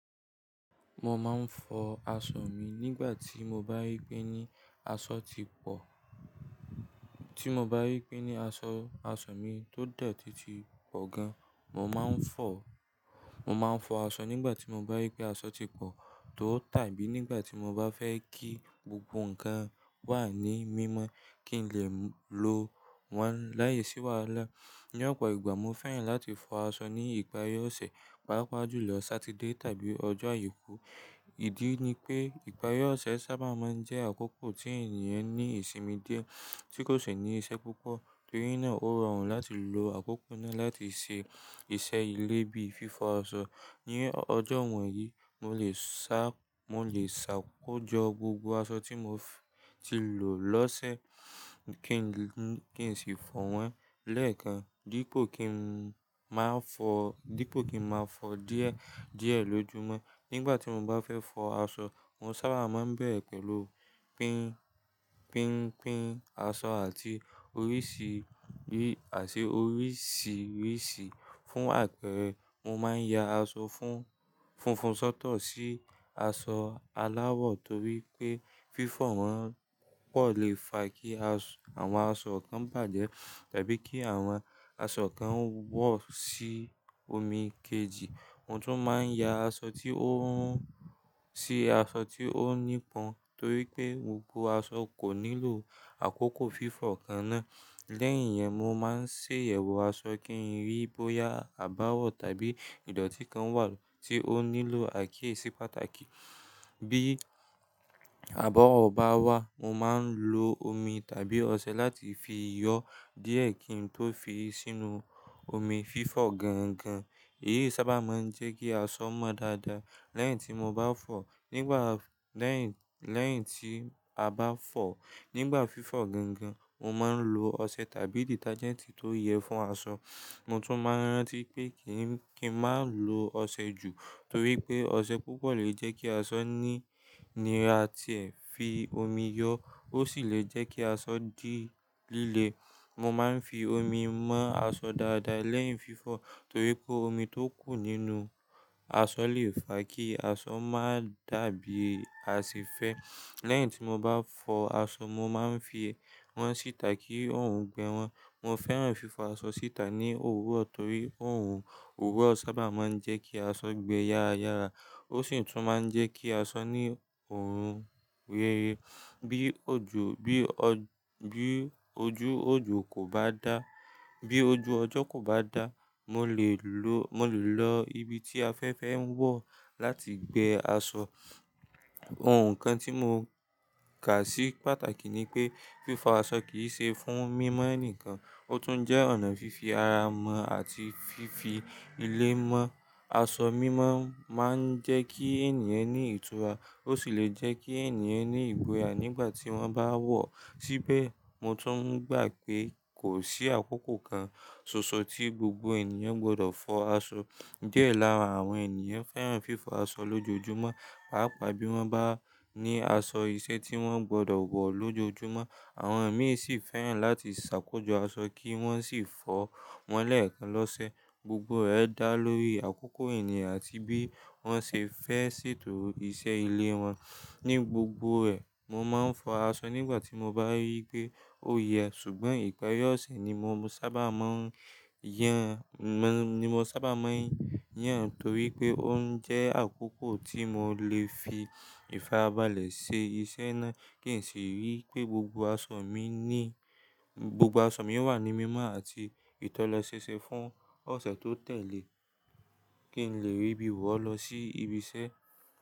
Mo máa ń fọ aṣọ mi nígbà tí mo bá rí pé ní aṣọ ti pọ̀. Tí mo bá rí pé ní aṣọ, aṣọ mi tó dọ̀tí ti pọ̀ gan, mo máa ń fọ. Mo máa ń fọ aṣọ nígbà tí mo bá rí pé aṣọ ti pọ̀ tọ́ tàbí nígbà tí mo bá fẹ́ kí gbogbo nǹkan wà ní mímọ́ kí n lè lò wọ́n láìsí wàhálà. Ní ọ̀pọ̀ ìgbà mo fẹ́ràn láti fọ aṣọ ní ìparí ọ̀sẹ̀, pàápàá jù lọ Saturday tàbí ọjọ́ àìkú. Ìdí ni pé ìparí ọ̀sẹ̀ sábà máa ń jẹ́ àkókò tí ènìyàn ní ìsinmi díẹ̀ tí kò sì ní iṣẹ́ púpọ̀, torí náà ó rọrùn láti lo àkókò náà láti ṣe iṣẹ́ ilé bíi fífọ aṣọ. Ni ọjọ́ wọ̀nyí, mo lè sá, mo lè ṣàkójọ gbogbo aṣọ tí mo ti lò lọ́sẹ̀ kí n sì fọ wọ́n lẹ́ẹ̀kan dípò kí n má fọ, dípò kí n má fọ díẹ̀, díẹ̀ lójoojúmọ́. Nígbà tí mo bá fẹ́ fọ aṣọ, mo sábà máa ń bẹ̀rẹ̀ pẹ̀lú pín, pínpín aṣọ àti oríṣiríṣi, àti oríṣiríṣi. Fún àpẹẹrẹ, mo máa ń ya aṣọ funfun sọ́tọ̀ sí aṣọ aláwọ̀ torí pé fífọ̀ wọ́n pọ̀ lè fa kí àwọn aṣọ kan bàjẹ́ tàbí kí àwọn aṣọ kan wọ́ sí omi kejì. Mo tún máa ń ya aṣọ tí ó hun sí aṣọ tí ó nípọn torí pé gbogbo aṣọ kò nílò àkókò fífọ̀ kan náà. Lẹ́yìn yẹn mo máa ń ṣe iyewo aṣọ kí n rí bóyá àbáwọ̀ tàbí ìdọ̀tí kan wà tí ó nílò àkíyèsí pàtàkì. Bí àbáwọ̀n bá wà mo máa ń lo omi tàbí ọṣẹ láti fi yọ díẹ̀ kí n tó fi sínú omi fífọ̀ gángan. Èyí sábà máa ń jẹ́ kí aṣọ mọ́ dáadáa. Lẹ́yìn tí mo bá fọ̀, nígbà, lẹ́yìn, lẹ́yìn tí a bá fọ̀, nígbà fífọ̀ gángan mo máa ń lo ọṣẹ tàbí detergent tó yẹ fún aṣọ. Mo tún máa ń rántí pé kí n má lo ọṣẹ jù torí pé ọṣẹ púpọ̀ lè jẹ́ kí aṣọ ní nira tí ẹ fi omi yọ ó sì lè jẹ́ kí aṣọ di líle. Mo máa ń fi omi mọ́ aṣọ dáadáa lẹ́yìn fífọ̀ torí pé omi tó kù nínú aṣọ lè fa kí aṣọ má dàbí a se fẹ́. Lẹ́yìn tí mo bá fọ aṣọ mo máa ń fi wọ́n síta kí òòrùn gbẹ wọ́n. Mo fẹ́ràn fífọ aṣọ síta ní òwúrọ̀ torí òòrùn òwúrọ̀ sábà máa ń jẹ́ kí aṣọ gbẹ yára yára ó sì tún máa ń jẹ́ kí aṣọ ní oorun rere. Bí ojú, bí ọ, bí ojú ọjọ́ kò bá dá, bí ojú ọjọ́ kò bá dá mo lè lo, mo lè lọ ibi tí afẹ́fẹ́ ń wọ̀ láti gbẹ aṣọ. Ohun kan tí mo kà sí pàtàkì ni pé fífọ aṣọ kì í ṣe fún mímọ́ nìkan, ó tún jẹ́ ọ̀nà fífi ara mọ̀ àti fífi ilé mọ́. Aṣọ mímọ́ máa ń jẹ́ kí ènìyàn ní ìtura, ó sì lè jẹ́ kí ènìyàn ní ìgboyà nígbà tí wọ́n bá wọ̀ síbẹ̀. Mo tún gbà pé kò sí àkókò kan ṣoṣo tí gbogbo ènìyàn gbọdọ̀ fọ aṣọ. Díẹ̀ lára àwọn ènìyàn fẹ́ràn fífọ aṣọ lójoojúmọ́, pàápàá bí wọ́n bá ní aṣọ iṣẹ́ tí wọ́n gbọdọ̀ wọ̀ lójoojúmọ́. Àwọn ẹ̀mí sì fẹ́ràn láti ṣàkójọ aṣọ kí wọ́n sì fọ wọ́n lẹ́ẹ̀kan lọ́sẹ̀. Gbogbo rẹ̀ dá lórí àkókò ènìyàn àti bí wọ́n ṣe fẹ́ ṣètò iṣẹ́ ilé wọn. Ni gbogbo rẹ̀ mo máa ń fọ aṣọ nígbà tí mo bá rí pé ó yẹ ṣùgbọ́n ìparí ọ̀sẹ̀ ni mo sábà máa ń yàn, ni mo sábà máa ń yàn torí pé ó ń jẹ́ àkókò tí mo lè fi ìfarabalẹ̀ ṣe iṣẹ́ náà kí n sì rí pé gbogbo aṣọ mi ní, gbogbo aṣọ mi wà ní mímọ́ àti ìtọ́lẹ́sẹsẹ fún ọ̀sẹ̀ tó tẹ̀lé kí n lè rí bí wọ́n lọ sí ibi iṣẹ́.